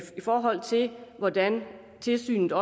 forhold til hvordan tilsynet